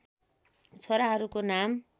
छोराहरूको नाम